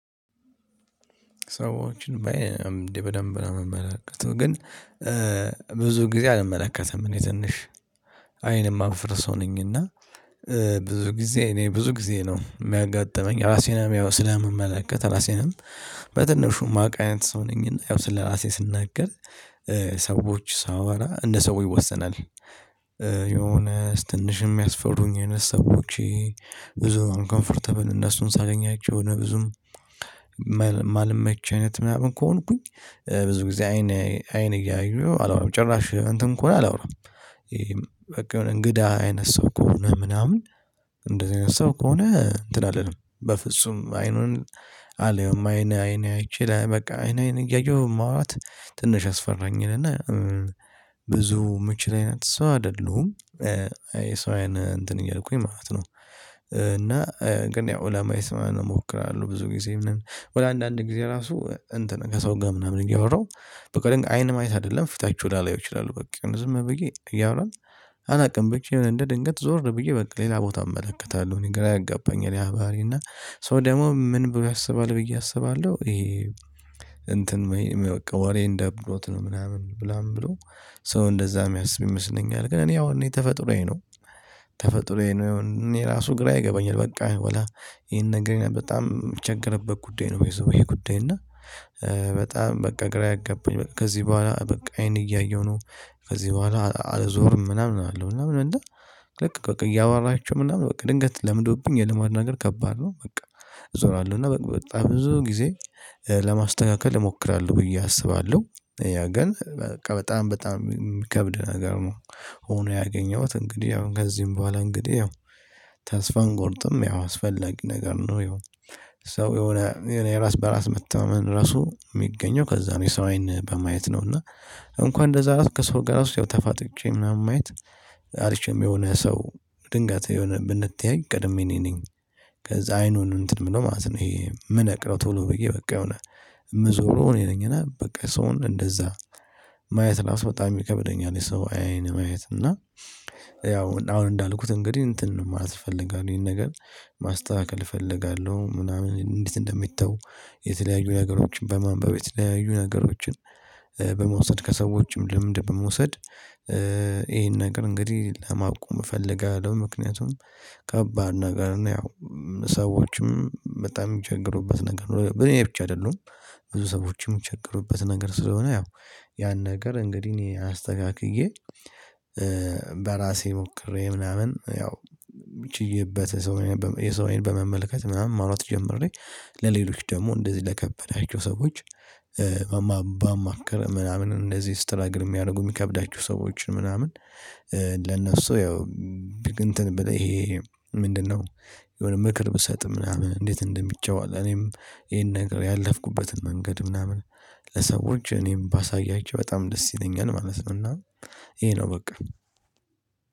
ሰዎችን በአይን ነው እንዴ በደንብ ነው እምመለከተው ግን። ብዙ ጊዜ አልመለከትም እኔ ትንሽ አይንም እማፍር ሰው ነኝ። እና ብዙ ጊዜ እኔ ብዙ ጊዜ ነው እሚያጋጥመኝ ራሴንም ያው ስለምመለከት ራሴንም በትንሹ እማውቅ አይነት ሰው ነኝና ያው ስለራሴ ስናገር። ሰዎችን በአይን ነው እንዴ በደንብ ነው እምመለከተው ግን። ሰዎች ሳወራ እንደ ሰው ይወሰናል ብዙ ጊዜ እኔ ብዙ ጊዜ ነው እሚያጋጥመኝ። ራሴንም ያው ስለምመለከት ራሴንም በትንሹ እማውቅ አይነት ሰው ነኝና ያው ስለራሴ ስናገር። እማልመች አይነት ምናምን ከሆንኩኝ ብዙ ጊዜ አይን አይን እያየሁ አላውራም ጭራሽ እንትን ከሆነ አላወራም። በቀን እንግዳ አይነት ሰው ከሆነ ምናምን። እንደዚህ አይነት ሰው ከሆነ እንትን አልልም በፍጹም አይኑን አላየውም አይን አይን አይቼ በቃ አይን አይን እያየሁ ማውራት ትንሽ ያስፈራኛል እና ብዙ እምችል አይነት ሰው አይደሉም የሰው አይነት እንትን እያልኩኝ ማለት ነው። እና ግን ያው ለማየት ምናምን እሞክራለሁ ብዙ ጊዜም በኋላ አንዳንድ ጊዜ ራሱ እንትን ከሰው ጋር ምናምን እያወራው አይን ማየት አይደለም ፊታችሁን ላላየው እችላሁ በቃ ዝም ብዬ እያወራን። አላውቅም ብቻ የሆነ እንደ ድንገት ዞር ብዬ በቃ ሌላ ቦታ እመለከታለሁ እኔ ግራ ያጋባኛል። ያ ባህሪ እና ሰው ደግሞ ምን ብሎ ያስባል ብዬ አስባለሁ ይሄ እንትን። ወሬን ደብሮት ነው ምናምን ብለው። ሰው እንደዛ እሚያስብ ይመስለኛል ግን እኔ አሁን እኔ ተፈጥሮዬ ነው። ተፈጥሮዬ ነው እኔ ራሱ ግራ ይገባኛል በቃ ወላ ይሄን ነገር በጣም እሚቸገርበት ጉዳይ ነው ባይ ዘዌይ ጉዳይ እና። በጣም በቃ ግራ ያገባኝ ከዚህ ቡሃላ በቃ አይን እያየሁ ነው። ከዚህ ቡሃላ አልዞርም ምናምን አላለሁ ምናምን እንደ ልክ በቃ እያወራቸው ምናምን በቃ ድንገት ለምዶብኝ የልማድ ነገር ከባድ ነው በቃ። እዞራለሁ እና በጣም ብዙ ጊዜ ለማስተካከል እሞክራለሁ ብዬ አስባለሁ። ያ ግን በቃ በጣም በጣም እሚከብድ ነገር ነው። ሆኖ ያገኘሁት እንግዲህ ያው ከዚህም ቡሃላ እንግዲህ ያው ተስፋን አንቆርጥም ያው አስፈላጊ ነገር ነው ይሄው። ሰው የሆነ የዕራስ በራስ መተማመን ራሱ እሚገኘው ከዛ ነው። የሰው አይን በማየት ነው እና እንኳን እንደዛ ራሱ ከሰው ጋ ራሱ ያው ተፋጥጬ ምናምን ማየት። አልችልም የሆነ ሰው ድንገት የሆነ ብንተያይ ቀድሜ እኔ ነኝ። ከዛ አይኑን እንትን እምለው ማለት ነው። ይሄ እምነቅለው ቶሎ ብየ በቃ የሆነ እምዞረው እኔ ነኝ እና በቃ ሰውን እንደዛ። ማየት ራሱ በጣም ይከብደኛል። የሰው አይን ማየት እና ያው አሁን እንዳልኩት እንግዲህ እንትን ማለት እፈልጋለሁ ይሄን ነገር። ማስተካከል እፈልጋለሁ ምናምን እንዴት እንደሚተው? የተለያዩ ነገሮችን በማንበብ የተለያዩ ነገሮችን በመውሰድ ከሰዎችም ልምድ በመውሰድ። ይሄን ነገር እንግዲህ ለማቆም እፈልጋለሁ። ምክንያቱም ከባድ ነገር ነው ያው። ሰዎችም በጣም እሚቸገሩበት ነገር ነው በእኔ ብቻ አይደሉም። ብዙ ሰዎችም እሚቸገሩበት ነገር ስለሆነ ያው ያን ነገር እንግዲህ እኔ አስተካክዬ። በራሴ ሞክሬ ምናምን ያው ችየበት። የሰው አይን በመመልከት ምናምን ማውራት ጀምሬ። ለሌሎች ደሞ እንደዚህ ለከበዳቸው ሰዎች። ባማክር ምናምን እንደዚህ ስትራግል እሚያደርጉ እሚከብዳቸው ሰዎችን ምናምን። ለነሱ ያው እንትን ብል ይሄ ምንድነው? የሆነ ምክር ብሰጥ ምናምን እንዴት እንደሚተው እኔም ይሄን ነገር ያለፍኩበትን መንገድ ምናምን። ለሰዎች እኔም ባሳያቸው በጣም ደስ ይለኛል ማለት ነው። እና ይሄ ነው በቃ።